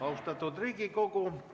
Austatud Riigikogu!